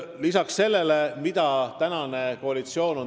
Võtame ette teie küsimuse fookuse.